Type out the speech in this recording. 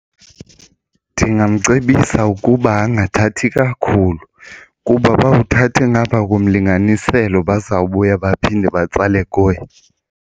Ndingamcebisa ukuba angathathi kakhulu kuba uba uthathe ngapha komlinganiselo bazawubuya baphinde batsale kuye.